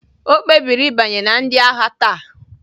O kpebiri ịbanye na ndị agha taa